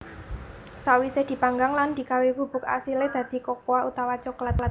Sawisé dipanggang lan digawé bubuk asilé dadi kokoa utawa coklat